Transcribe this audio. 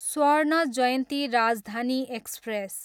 स्वर्ण जयन्ती राजधानी एक्सप्रेस